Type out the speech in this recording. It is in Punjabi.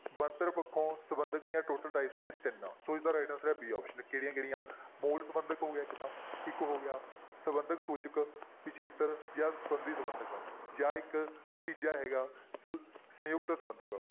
ਬਣਤਰ ਪੱਖੋ ਸੰਬੰਧਕ ਦੀਆਂ total types ਨੇ ਤਿੰਨ, ਸੋ ਇਸਦਾ right answer ਹੈ b option ਕਿਹੜੀਆਂ ਕਿਹੜੀਆਂ ਮੂਲ ਸੰਬੰਧਕ ਹੋ ਗਿਆ ਇੱਕ ਤਾਂ, ਇੱਕ ਹੋ ਗਿਆ ਸੰਬੰਧਕ ਸੂਚਕ ਪਿੱਛੇਤਰ ਜਾਂ ਸੰਧੀ ਸੰਬੰਧਕ ਜਾਂ ਇੱਕ ਤੀਜਾ ਹੈਗਾ ਸ~ ਸੰਯੁਕਤ ਸੰਬੰਧਕ।